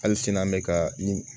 Hali sini an bɛ ka ni